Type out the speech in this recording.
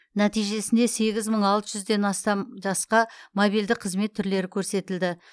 нәтижесінде сегіз мың алты жүзден астам жасқа мобильді қызмет түрлері көрсетілді